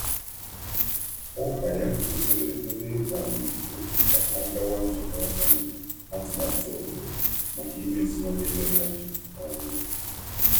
Ụka um ya gbara ndị otu ya ume ka ha um gaa nzukọ nhazi obodo um maka mmepe ógbè.